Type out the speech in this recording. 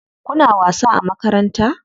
Kuna wasa a makaranta?